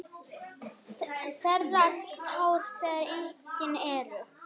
Þerrar tár þegar engin eru.